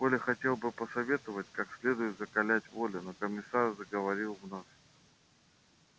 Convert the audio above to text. коля хотел было посоветовать как следует закалять волю но комиссар заговорил вновь